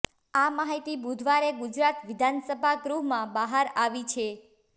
આ માહિતી બુધવારે ગુજરાત વિધાનસભા ગૃહમાં બહાર આવી છે